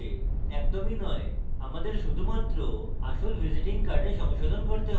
একদমই not আমরা শুধুমাত্র আসল visiting card সংশোধন করতে have